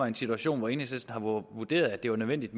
en situation hvor enhedslisten har vurderet at det var nødvendigt